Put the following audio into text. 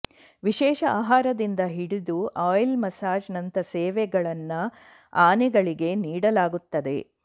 ವಿಶೇಷ ಆಹಾರದಿಂದ ಹಿಡಿದು ಆಯಿಲ್ ಮಸಾಜ್ ನಂತ ಸೇವೆಗಳನ್ನ ಆನೆಗಳಿಗೆ ನೀಡಲಾಗುತ್ತದೆ